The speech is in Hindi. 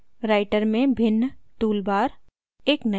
writer में भिन्न टूल बार